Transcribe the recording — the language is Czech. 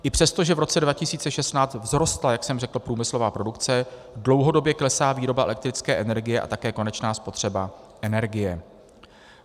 I přesto, že v roce 2016 vzrostla, jak jsem řekl, průmyslová produkce, dlouhodobě klesá výroba elektrické energie a také konečná spotřeba energie.